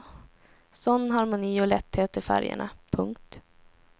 Sådan harmoni och lätthet i färgerna. punkt